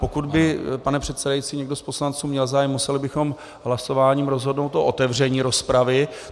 Pokud by, pane předsedající, někdo z poslanců měl zájem, museli bychom hlasováním rozhodnout o otevření rozpravy.